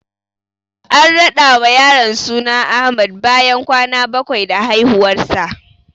An rada wa yaron suna Ahmad bayan kwana bakwai da haihuwarsa.